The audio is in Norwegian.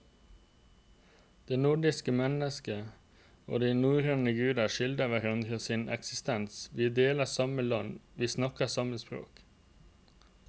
Det nordiske mennesket og de norrøne guder skylder hverandre sin eksistens, vi deler samme land, vi snakker samme språk.